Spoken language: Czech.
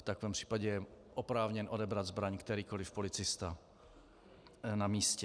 V takovém případě je oprávněn odebrat zbraň kterýkoli policista na místě.